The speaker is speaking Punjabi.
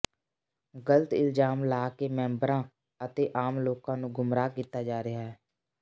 ਗਲਤ ਇਲਜ਼ਾਮ ਲਾ ਕੇ ਮੈਂਬਰਾਂ ਅਤੇ ਆਮ ਲੋਕਾਂ ਨੂੰ ਗੁੰਮਰਾਹ ਕੀਤਾ ਜਾ ਰਿਹਾ ਹੈ